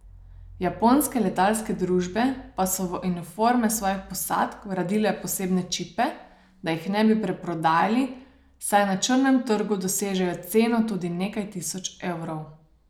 Japonske letalske družbe pa so v uniforme svojih posadk vgradile posebne čipe, da jih ne bi preprodajali, saj na črnem trgu dosežejo ceno tudi nekaj tisoč evrov.